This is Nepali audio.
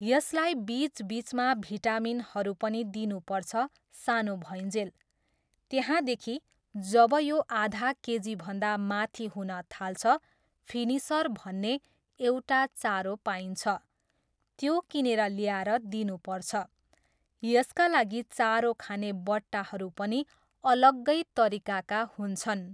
यसलाई बिच बिचमा भिटामिनहरू पनि दिनुपर्छ सानो भइञ्जेल। त्यहाँदेखि जब यो आधा केजीभन्दा माथि हुन थाल्छ, फिनिसर भन्ने एउटा चारो पाइन्छ, त्यो किनेर ल्याएर दिनुपर्छ, यसका लागि चारो खाने बट्टाहरू पनि अलग्गै तरिकाका हुन्छन्।